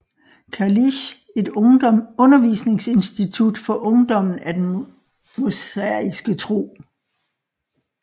Kalisch et undervisningsinstitut for ungdommen af den mosaiske tro